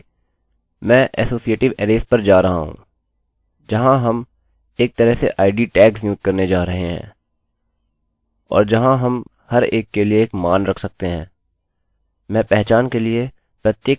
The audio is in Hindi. फिर भी मैं associative अरैज़arrays पर जा रहा हूँ जहाँ हम एक तरह से id tags नियुक्त करने जा रहे हैं जहाँ हम हर एक के लिए एक मान रख सकते हैं मैं पहचान के प्रत्येक प्रकार के लिए उस मान का कैसे विवरण कर सकता हूँ